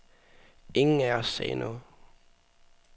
Ingen af os sagde noget.